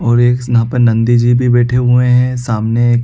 और एक यहाँ पे नंदी जी भी बैठे हुए है सामने--